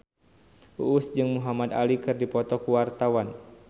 Uus jeung Muhamad Ali keur dipoto ku wartawan